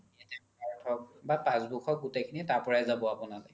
card হওক বা passbook হওক গুতেই খিনিয়ে তাৰ পৰা জাব আপোনা লে